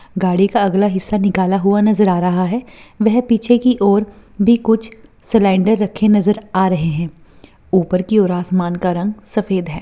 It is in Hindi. गाड़ी का अगला हिस्सा निकाला हुआ है वहीँ पीछे की ओर भी कुछ सिलिंडर नज़र आ रहे हैं ऊपर की और आसमान का रंग सफ़ेद है।